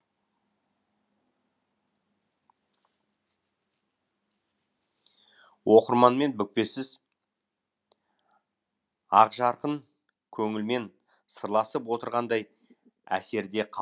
оқырманмен бүкпесіз ақжарқын көңілмен сырласып отырғандай әсерде қал